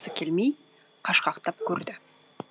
келмей қашқақтап көрді